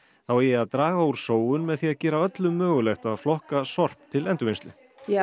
þau eigi að draga úr sóun með því að gera öllum mögulegt að flokka sorp til endurvinnslu